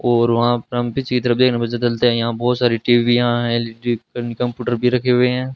और वहां यहां बहुत सारी टीवीयां हैं एल_ई_डी एंड कंप्यूटर भी रखे हुए हैं।